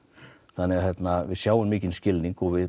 þannig að við sjáum mikinn skilning og